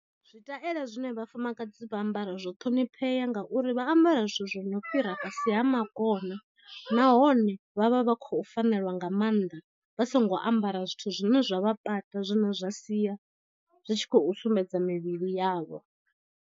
Zwitaela zwine vhafumakadzi vha ambara zwo ṱhoniphea ngauri vha ambara zwithu zwi no fhira fhasi ha magona, nahone vha vha vha khou fanelwa nga maanḓa vha songo ambara zwithu zwine zwa vha pata zwine zwa sia zwi tshi khou sumbedza mivhili yavho.